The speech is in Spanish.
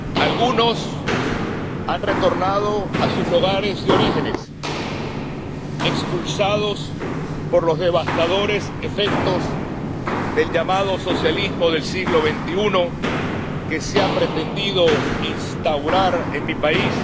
Algunos han retornado a sus lugares de origen, expulsados por los devastadores efectos del llamado socialismo del siglo XXI que se ha pretendido instaurar en mi país.